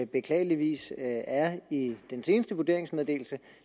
beklageligvis er i den seneste vurderingsmeddelelse